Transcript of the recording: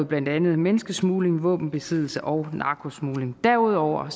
blandt andet menneskesmugling våbenbesiddelse og narkosmugling derudover